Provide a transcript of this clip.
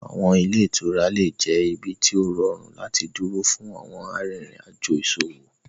Awọn ile-itura le jẹ ibi ti o rọrun lati duro fun awọn arinrin ajo iṣowo.